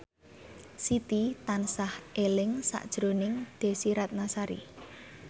Siti tansah eling sakjroning Desy Ratnasari